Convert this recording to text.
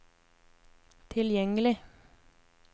tilgjengelig